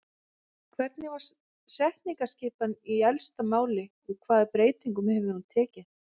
Hvernig var setningaskipan í elsta máli og hvaða breytingum hefur hún tekið?